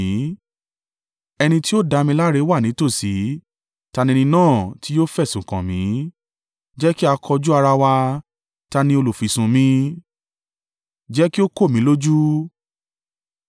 Ẹni tí ó dá mi láre wà nítòsí. Ta ni ẹni náà tí yóò fẹ̀sùn kàn mí? Jẹ́ kí a kojú ara wa! Ta ni olùfisùn mi? Jẹ́ kí ó kò mí lójú!